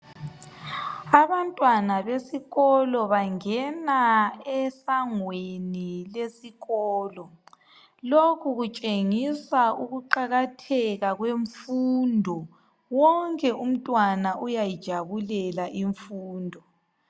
Abantwana besikolo bangena esangweni lesikolo, lokhu kutshengisa ukuqakatheka kwemfundo. Wonke umntwana uyayijabulela imfundo.